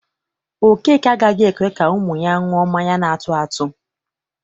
Okeke agaghị ekwe ka ụmụ ya ṅụọ mmanya na-atụ atụ